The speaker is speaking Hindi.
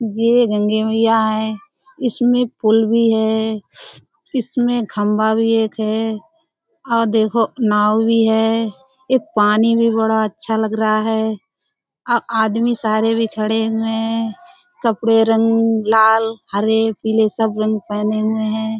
ये गंगे मईया है। इसमें पुल भी है इसमें खम्भा भी एक है और देखो नाव भी है यह पानी भी बड़ा अच्छा लग रहा है। आदमी सारे भी खड़े हुए हैं। कपड़े रंग लाल हरे पीले सब रंग पहने हुए हैं।